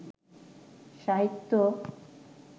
সাহিত্য